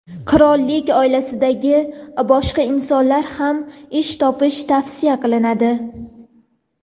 qirollik oilasidagi boshqa insonlarga ham "ish topish" tavsiya qilinadi.